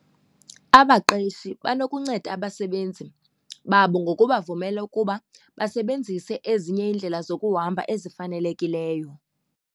Abaqeshi banokunceda abasebenzi babo ngoku bavumela ukuba basebenzise ezinye iindlela zokuhamba ezifanelekileyo.